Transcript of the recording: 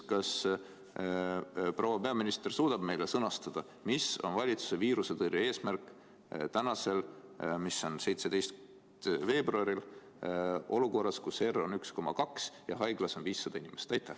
Kas proua peaminister suudab meile sõnastada, mis on valitsuse viirusetõrje eesmärk tänasel päeval, 17. veebruaril olukorras, kus R on 1,2 ja haiglas on 500 inimest?